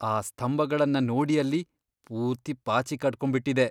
ಆ ಸ್ತಂಭಗಳ್ನ ನೋಡಿ ಅಲ್ಲಿ. ಪೂರ್ತಿ ಪಾಚಿ ಕಟ್ಕೊಂಡ್ಬಿಟಿದೆ.